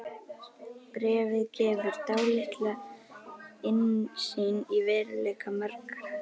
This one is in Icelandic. Bréfið gefur dálitla innsýn í veruleika margra.